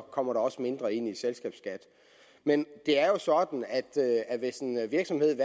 kommer der også mindre ind i selskabsskat men det er jo sådan at at hvis en virksomhed